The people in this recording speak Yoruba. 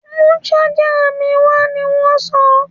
Mú ṣájà mi wá! ní wọ́n sọ.